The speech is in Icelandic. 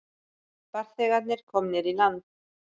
Farþegarnir komnir í land